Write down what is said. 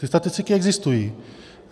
Ty statistiky existují.